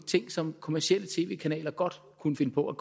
ting som kommercielle tv kanaler godt kunne finde på at